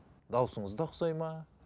дауысыңыз да ұқсайды ма